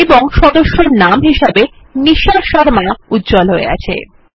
এবং সদস্যর নাম হিসাবে নিশা শর্মা উজ্জ্বল হয়ে আছে